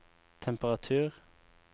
temperatur